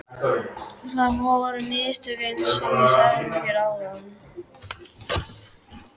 Það voru mistök einsog ég sagði þér áðan.